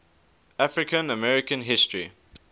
african american history